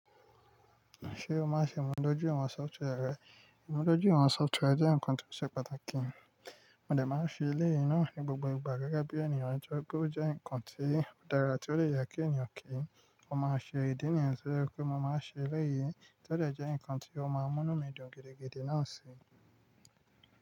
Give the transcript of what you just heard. Ṣé o máa ń ṣe ìmúdójúìwọ̀n software rẹ? Ìmúdójúìwọ̀n software jẹ́ nǹkan tó ṣe pàtàkì. Mo dà máa ń se elẹ́yìn náà ní gbogbo ìgbà gẹ́gẹ́ bí ènìyàn ni toripe o jẹ́ nǹkan tí ó dára tí ó lè je kí ènìyàn kí. Ó máa ń ṣe ìdí nìyàn to je pé mo máa ń ṣe elẹ́yì, tió de jẹ́ nǹkan tí ó máa ń mú ínu mi dùn gidigidi náà si.